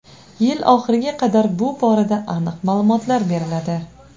Yil oxiriga qadar bu borada aniq ma’lumotlar beriladi.